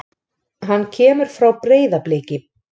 Hann kemur frá Breiðabliki.